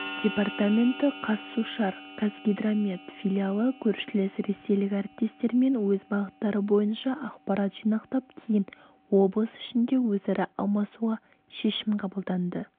департаменті казсушар казгидромет филиалы көршілес ресейлік әріптестермен өз бағыттары бойынша ақпарат жинақтап кейін облыс ішінде өзара алмасуға шешім қабылданды